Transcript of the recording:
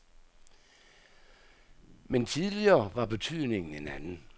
Men tidligere var betydningen en anden.